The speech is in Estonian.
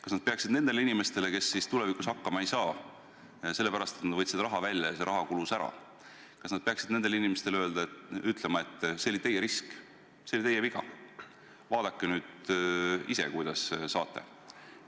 Kas nad peaksid nendele inimestele, kes tulevikus hakkama ei saa – sellepärast, et nad võtsid raha välja ja see raha kulus ära –, ütlema, et see oli teie risk, see oli teie viga, vaadake nüüd ise, kuidas saate?